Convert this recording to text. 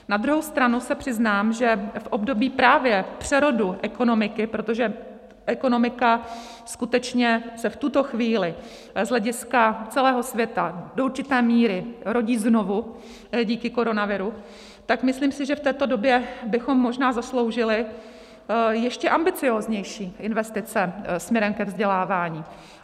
Na druhou stranu se přiznám, že v období právě přerodu ekonomiky, protože ekonomika skutečně se v tuto chvíli z hlediska celého světa do určité míry rodí znovu díky koronaviru, tak myslím si, že v této době bychom možná zasloužili ještě ambicióznější investice směrem ke vzdělávání.